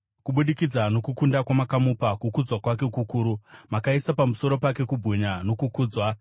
Kubudikidza nokukunda kwamakamupa, kukudzwa kwake kukuru; makaisa pamusoro pake kubwinya nokukudzwa.